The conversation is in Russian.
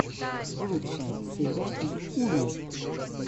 лучшая серия йуны